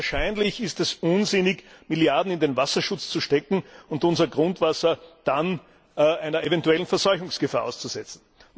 Und wahrscheinlich ist es unsinnig, Milliarden in den Wasserschutz zu stecken und unser Grundwasser dann einer eventuellen Verseuchungsgefahr auszusetzen.